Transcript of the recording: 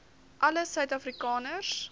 alle suid afrikaners